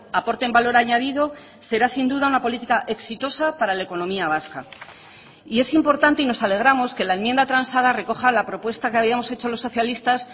aporten valor añadido será sin duda una política exitosa para la economía vasca y es importante y nos alegramos que la enmienda transada recoja la propuesta que habíamos hecho los socialistas